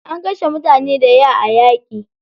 An kashe mutane daya a yaƙi.